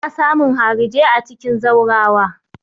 Ana samun harijai a cikin zaurawa.